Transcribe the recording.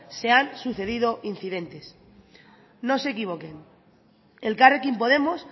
se han sucedido incidentes no se equivoquen elkarrekin podemos